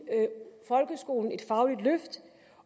folkeskolen et fagligt løft